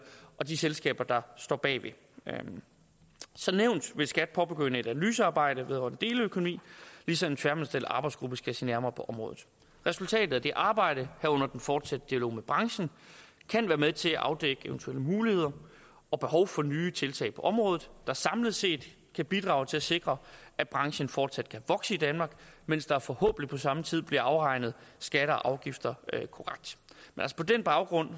og de selskaber der står bag som nævnt vil skat påbegynde et analysearbejde vedrørende deleøkonomi ligesom en tværministeriel arbejdsgruppe skal se nærmere på området resultatet af det arbejde herunder den fortsatte dialog med branchen kan være med til at afdække eventuelle muligheder og behov for nye tiltag på området der samlet set kan bidrage til at sikre at branchen fortsat kan vokse i danmark mens der forhåbentlig på samme tid bliver afregnet skatter og afgifter korrekt på den baggrund